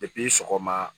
Depi sɔgɔma